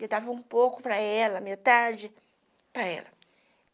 Eu dava um pouco para ela, metade para ela.